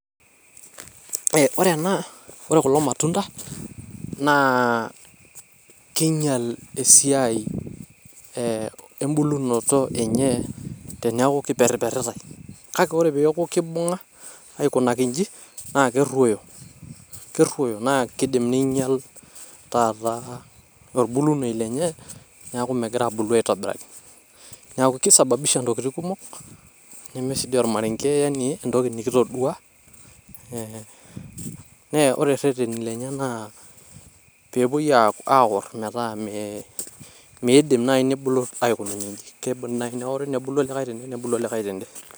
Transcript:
Eeeh ore ena, ore kulo matunda naa kinyial esiai embulunoto enye teneaku kiperriperritae. Kake ore peeku kimbung`a aikunaki inchi naa keruoyo, keruoyo naa kidim ninyial taata olbulunyie lenye neaku imegira aabulu aitobiraki. Niaku keisababisha ntokitin kumok neme sii dii olmarenge yaani entoki nikitodua. Naa ore irreteni lenye naa pee epuoi aaorr metaa meidim naaji nebulu aikununye inchi keidimi naaji neori nbulu olikae tene nebulu olikae tende.